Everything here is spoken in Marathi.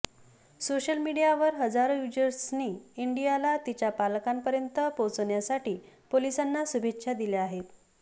सोशल मीडियावर हजारो यूजरर्सनी इंडीयाला तिच्या पालकांपर्यंत पोहचवण्यासाठी पोलिसांना शुभेच्छा दिल्या आहेत